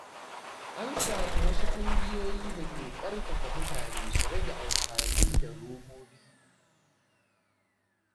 An samu wasu ƙungiyoyi da ke ƙarfafa mutane su rage amfani da robobi.